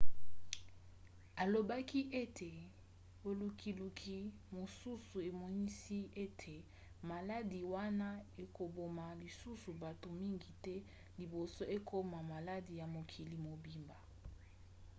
alobaki ete bolukiluki mosusu emonisi ete maladi wana ekoboma lisusu bato mingi te liboso ekomona maladi ya mokili mobimba